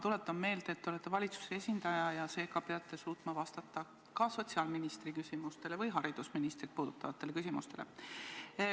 Tuletan meelde, et te olete valitsuse esindaja ja seega peate suutma vastata ka sotsiaalministri või haridusministri valdkonda puudutavatele küsimustele.